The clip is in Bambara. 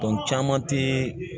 caman te